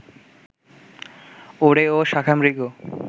ওরে ও শাখামৃগ